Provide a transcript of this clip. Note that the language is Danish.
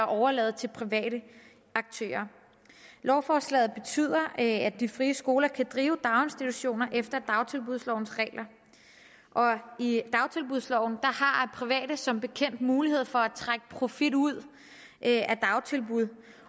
overladt til private aktører lovforslaget betyder at de frie skoler kan drive daginstitutioner efter dagtilbudslovens regler og i dagtilbudsloven har private som bekendt mulighed for at trække profit ud af dagtilbud